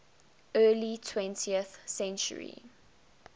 early twentieth century